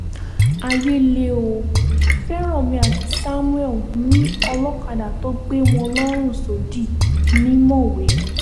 ayé lẹ ò fẹ́ranmi àti samuel yín ọlọ́kadà tó gbé wọn lọ́rùn sódì ní mọ̀wé